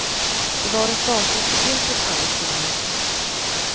Det var ett datum som vilket annat som helst.